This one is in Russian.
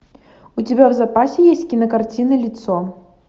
у тебя в запасе есть кинокартина лицо